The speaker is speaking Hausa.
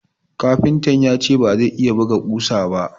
Kafintan ya ce ba zai iya buga kusa ba